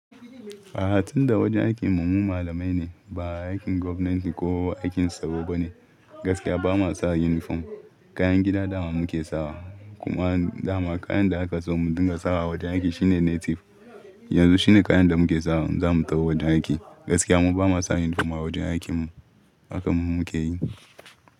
A'a, tunda wajen aikin mu mu malamai ne, ba aikin government ko aikin tsaro ba ne, gaskiya bama sa uniform. Kayan gida dama muke sawa, kuma dama kayan da aka so mu dinga sawa a wajen aiki shine native. Yanzu shine kayan da muke sawa zamu taho wajen aiki. Gaskiya mu bamu sa uniform a wajen aikin mu. Haka muke yi.